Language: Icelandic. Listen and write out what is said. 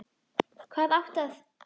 Hvað átti að